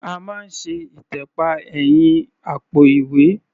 A máa ń ṣe ìtẹ̀pa ẹ̀yìn àpò-ìwẹ́.